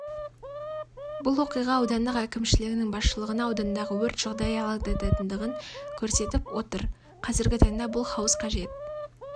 бұл оқиға аудандық әкімшілігінің басшылығына аудандағы өрт жағдайы алаңдататындығын көрсетіп отыр қазіргі таңда бұл хауыз қажет